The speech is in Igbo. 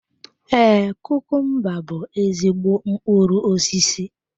Ee, kukumba bú ezigbo mkpụrụ osisi.